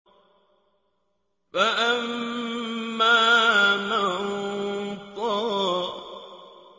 فَأَمَّا مَن طَغَىٰ